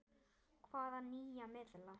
Þór: Hvaða nýja miðla?